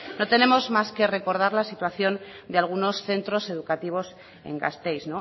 no tenemos más que recordar la situación de algunos centros educativos en gasteiz